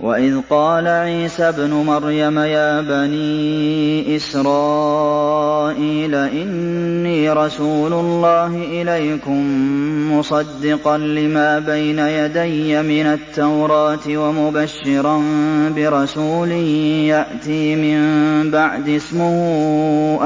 وَإِذْ قَالَ عِيسَى ابْنُ مَرْيَمَ يَا بَنِي إِسْرَائِيلَ إِنِّي رَسُولُ اللَّهِ إِلَيْكُم مُّصَدِّقًا لِّمَا بَيْنَ يَدَيَّ مِنَ التَّوْرَاةِ وَمُبَشِّرًا بِرَسُولٍ يَأْتِي مِن بَعْدِي اسْمُهُ